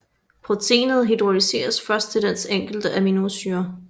Proteinet hydrolyseres først til dets enkelte aminosyre